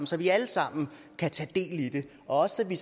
så vi alle sammen kan tage del i det og så vi